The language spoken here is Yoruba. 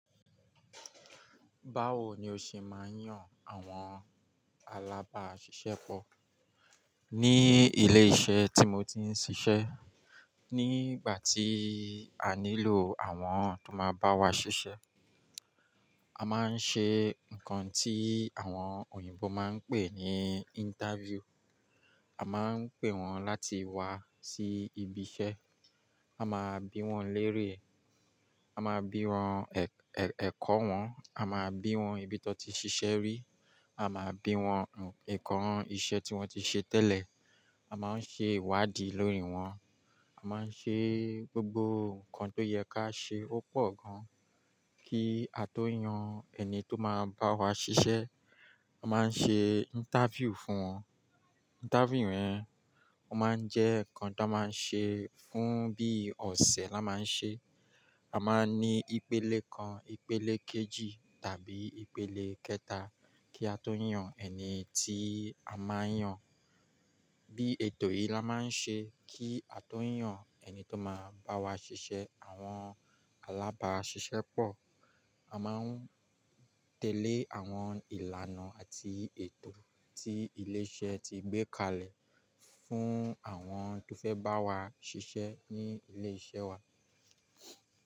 Báwo ni ó ṣe máa ń yàn àwọn alábáṣiṣẹ́pọ̀. Ní ilé-iṣẹ́ tí mo ti ń ṣiṣẹ́, nígbà tí a nílò àwọn tó máa bá wa ṣiṣẹ́, a máa ń ṣe nǹkan tí àwọn òyìnbó máa ń pè ní interview. A máa ń pè wọ́n láti wá sí ibi iṣẹ́, a máa bi wọ́n lérè, a máa bi wọ́n ẹ̀kọ́ wọn, a máa bi wọ́n ibi tó ti ṣiṣẹ́ rí, a máa bi wọ́n nǹkan iṣẹ́ tí wọ́n ti ṣe tẹ́lẹ̀, a máa ń ṣe ìwádìí lórí wọn, a máa ń ṣe gbogbo nǹkan tó yẹ ká ṣe ó pọ̀ gan-an kí a tó yan ẹni tó máa bá wa ṣiṣẹ́. A máa ń ṣe interview fún wọn. Interview rẹ̀, ó máa ń jẹ́ nǹkan tó máa ń ṣe fún bí ọ̀sẹ̀ la máa ń ṣe. A máa ń ní ìpele kan, ìpele kejì tàbí ìpele kẹta kí a tó yan ẹni tí a máa ń yàn. Bí ètò yìí la máa ń ṣe kí a tó yan ẹni tó máa bá wa ṣiṣẹ́ àwọn alábáṣiṣẹ́ pọ̀. A máa ń tẹ̀lé àwọn ìlànà àti ètò tí ilé iṣẹ́ ti gbé kalẹ̀ fún àwọn tó fẹ́ bá wa ṣiṣẹ́ ní ilé iṣẹ́ wa.